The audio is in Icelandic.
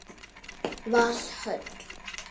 Valhöll